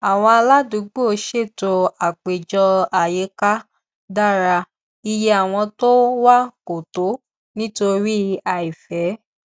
àwọn aládùúgbò ṣètò àpéjọ àyíká dára iye àwọn tó wá kò tó nítorí àìfẹ